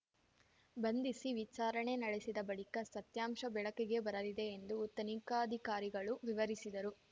ಬಂಧಿಸಿ ವಿಚಾರಣೆ ನಡೆಸಿದ ಬಳಿಕ ಸತ್ಯಾಂಶ ಬೆಳಕಿಗೆ ಬರಲಿದೆ ಎಂದು ತನಿಖಾಧಿಕಾರಿಗಳು ವಿವರಿಸಿದರು